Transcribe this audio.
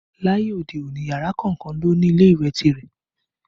Láyé òde òní, yàrá kọ̀ọ̀kan ló ń ní ilé ìwẹ̀ tirẹ̀